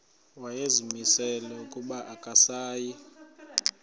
wayezimisele ukuba akasayi